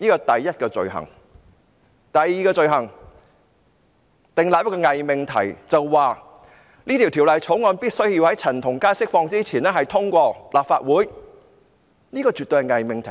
第二宗罪，是政府訂立了一個偽命題，指《條例草案》必須在陳同佳獲釋前獲立法會通過，這絕對是偽命題。